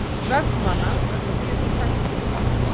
Svefnvana vegna nýjustu tækni